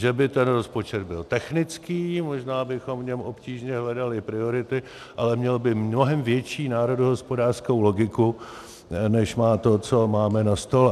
Že by ten rozpočet byl technický, možná bychom v něm obtížně hledali priority, ale měl by mnohem větší národohospodářskou logiku, než má to, co máme na stole.